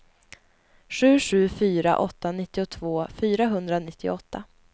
sju sju fyra åtta nittiotvå fyrahundranittioåtta